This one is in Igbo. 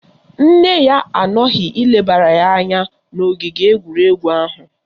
Nne ya anọghị ilebara ya anya n'ogige egwuregwu ahụ.